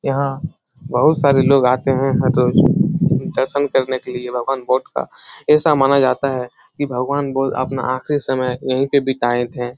यहाँ बहुत सारे लोग आते है हर रोज दर्शन करने के लिए भगवान बौद्ध का ऐसा माना जाता है की भगवान बौद्ध अपना आखिरी समय यही पे बिताये थे।